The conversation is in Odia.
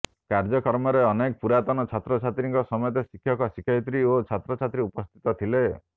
କାର୍ଯ୍ୟକ୍ରମରେ ଅନେକ ପୁରାତନ ଛାତ୍ରଛାତ୍ରୀଙ୍କ ସମେତ ଶିକ୍ଷକ ଶିକ୍ଷୟିତ୍ରୀ ଓ ଛାତ୍ରଛାତ୍ରୀ ଉପସ୍ଥିତ ଥିଲେ